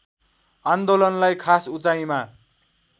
आन्दोलनलार्इ खास उचाइमा